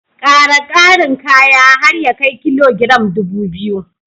Ƙara ƙarin kaya har ya kai kilogiram ɗubu biyu